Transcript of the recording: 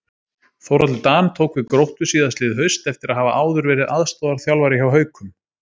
Þórhallur Dan tók við Gróttu síðastliðið haust eftir að hafa áður verið aðstoðarþjálfari hjá Haukum.